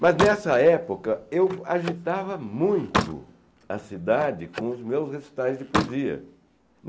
Mas, nessa época, eu agitava muito a cidade com os meus recitais de poesia.